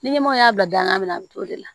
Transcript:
Ni ɲɛmɔgɔ y'a bila dangan min na an t'o de la